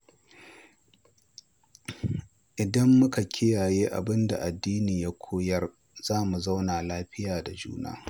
Idan muka kiyaye abin da addini ya koyar, za mu zauna lafiya da juna.